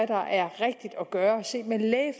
der er rigtigt at gøre set med de